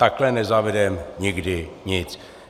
Takhle nezavedeme nikdy nic.